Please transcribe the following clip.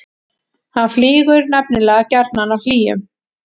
hann flýgur nefnilega gjarnan á hlýjum